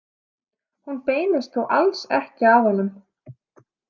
Hún beinist þó alls ekki að honum.